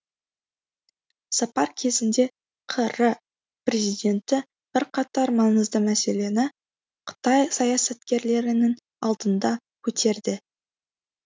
сапар кезінде қр президенті бірқатар маңызды мәселені қытай саясаткерлерінің алдында көтерді